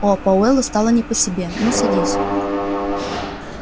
о пауэллу стало не по себе ну садись